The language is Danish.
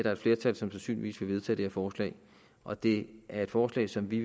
er et flertal som sandsynligvis vil vedtage det her forslag og det er et forslag som vi